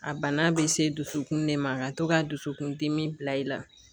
A bana bɛ se dusukun de ma ka to ka dusukundimi bila i la